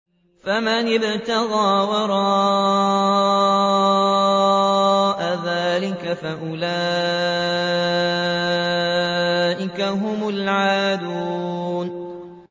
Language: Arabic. فَمَنِ ابْتَغَىٰ وَرَاءَ ذَٰلِكَ فَأُولَٰئِكَ هُمُ الْعَادُونَ